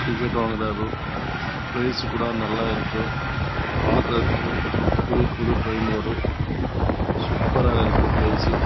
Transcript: ticket வாங்குறாரு ப்லேலிஸ் கூட நல்ல இருக்கு பாக்கறதுக்கு புது புது திரெயின் இருக்கும் சூப்பர் ஆஹ் இருக்கு பிளேட்லெஸ்